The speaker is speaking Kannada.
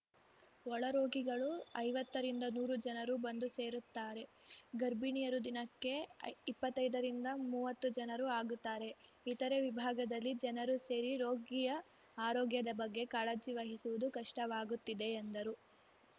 ಒಳರೋಗಿಗಳು ಐವತ್ತ ರಿಂದನೂರು ಜನರು ಬಂದು ಸೇರುತ್ತಾರೆ ಗರ್ಭಿಣಿಯರು ದಿನಕ್ಕೆ ಇಪ್ಪತ್ತೈದ ರಿಂದಮುವತ್ತು ಜನರು ಆಗುತ್ತಾರೆ ಇತರೆ ವಿಭಾಗದಲ್ಲಿ ಜನರು ಸೇರಿ ರೋಗಿಯ ಆರೋಗ್ಯದ ಬಗ್ಗೆ ಕಾಳಜಿ ವಹಿಸುವುದು ಕಷ್ಟವಾಗುತ್ತಿದೆ ಎಂದರು